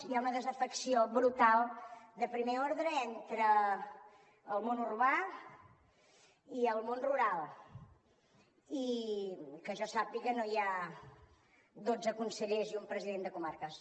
hi ha una desafecció brutal de primer ordre entre el món urbà i el món rural i que jo sàpiga no hi ha dotze consellers i un president de comarques